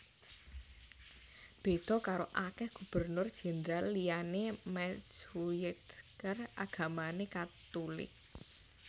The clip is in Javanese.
Béda karo akèh Gubernur Jendral liyané Maetsuycker agamané Katulik